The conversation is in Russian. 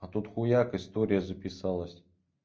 а тут хуяк история записалась